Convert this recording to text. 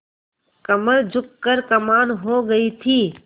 कमर झुक कर कमान हो गयी थी